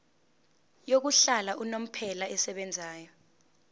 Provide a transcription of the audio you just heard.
yokuhlala unomphela esebenzayo